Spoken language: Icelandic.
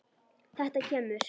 Þetta kemur.